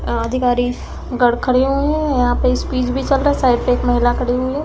खड़े हुए हैं। यहाँ पे स्पीच भी चल रहा है। साइड में एक महिला खड़ी हुई है।